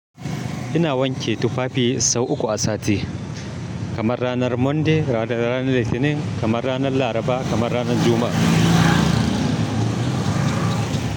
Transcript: Ina wanke tufafi sau uku a sati, kamar ranar Monday, kamar ranar Litinin, kamar ranar Laraba, kamar ranar Juma'a.